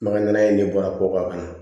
Maka ɲana in de bɔra kɔkan na